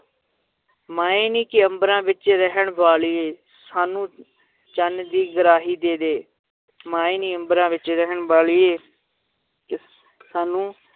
ਮਾਏ ਨੀ, ਕਿ ਅੰਬਰਾਂ ਵਿੱਚ ਰਹਿਣ ਵਾਲੀਏ ਸਾਨੂੰ ਚੰਨ ਦੀ ਗਰਾਹੀ ਦੇ ਦੇ ਮਾਏ ਨੀ ਅੰਬਰਾਂ ਵਿੱਚ ਰਹਿਣ ਵਾਲੀਏ ਸਾਨੂੰ